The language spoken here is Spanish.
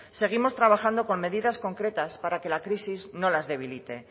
seguimos trabajando con medidas concretas para que la crisis no las debilite